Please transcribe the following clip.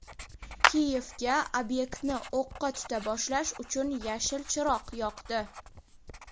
Kiyevga ob’ektni o‘qqa tuta boshlash uchun yashil chiroq yoqdi.